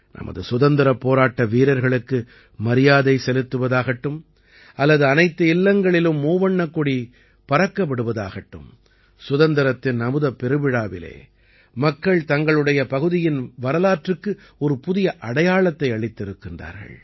நமது சுதந்திரப் போராட்ட வீரர்களுக்கு மரியாதை செலுத்துவதாகட்டும் அல்லது அனைத்து இல்லங்களிலும் மூவண்ணக் கொடி பறக்க விடுவதாகட்டும் சுதந்திரத்தின் அமுதப் பெருவிழாவிலே மக்கள் தங்களுடைய பகுதியின் வரலாற்றுக்கு ஒரு புதிய அடையாளத்தை அளித்திருக்கின்றார்கள்